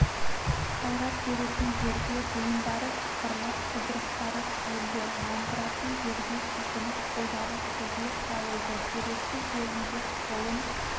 қайрат беретін жерде буындары сықырлап жұдырықтары түйілді нандыратын жерде сілкініп қолдары созылып жайылды керекті жерінде қолын